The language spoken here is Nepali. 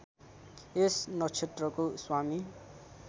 यस नक्षत्रको स्वामी